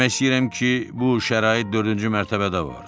Demək istəyirəm ki, bu şərait dördüncü mərtəbədə var.